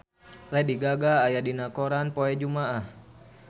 Lady Gaga aya dina koran poe Jumaah